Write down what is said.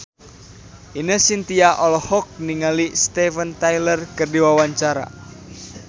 Ine Shintya olohok ningali Steven Tyler keur diwawancara